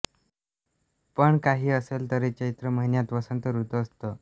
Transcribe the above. पण काही असले तरी चैत्र महिन्यात वसंत ऋतू असतो